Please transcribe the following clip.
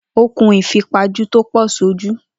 Ó kun ìfipajù tò pọ̀ sójú.